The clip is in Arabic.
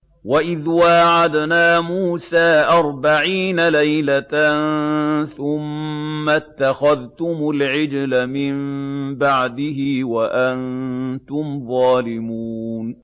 وَإِذْ وَاعَدْنَا مُوسَىٰ أَرْبَعِينَ لَيْلَةً ثُمَّ اتَّخَذْتُمُ الْعِجْلَ مِن بَعْدِهِ وَأَنتُمْ ظَالِمُونَ